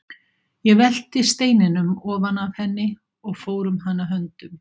Ég velti steininum ofan af henni og fór um hana höndum.